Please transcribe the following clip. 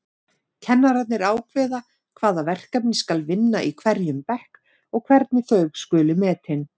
Kennararnir ákveða hvaða verkefni skal vinna í hverjum bekk og hvernig þau skuli metin.